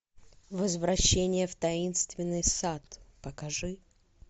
возвращение в таинственный сад покажи